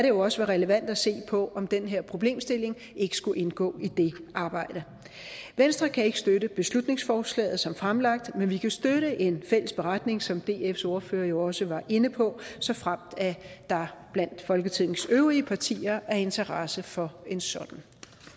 jo også være relevant at se på om den her problemstilling ikke skulle indgå i det arbejde venstre kan ikke støtte beslutningsforslaget som fremlagt men vi kan støtte en fælles beretning som dfs ordfører jo også var inde på såfremt der blandt folketingets øvrige partier er interesse for en sådan